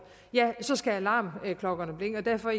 ja så skal alarmklokkerne ringe derfor